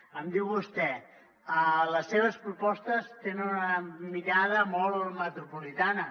em diu vostè les seves propostes tenen una mirada molt metropolitana